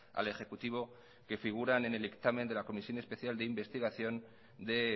al ejecutivo que figuran en el dictamen de la comisión especial de investigación de